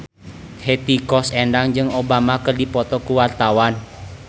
Hetty Koes Endang jeung Obama keur dipoto ku wartawan